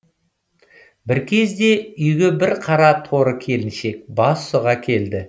бір кезде үйге бір қара торы келіншек бас сұға келді